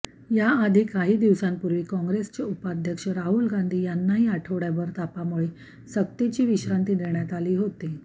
याआधी काही दिवसांपूर्वी काँग्रेसचे उपाध्यक्ष राहुल गांधी यांनाही आठवडाभर तापामुळे सक्तीची विश्रांती देण्यात आली होती